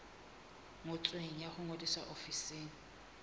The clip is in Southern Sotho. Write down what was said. ngotsweng ya ho ngodisa ofising